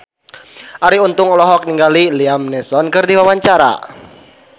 Arie Untung olohok ningali Liam Neeson keur diwawancara